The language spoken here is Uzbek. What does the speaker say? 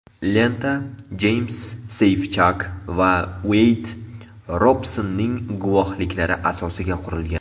Lenta Jeyms Seyfchak va Ueyd Robsonning guvohliklari asosiga qurilgan.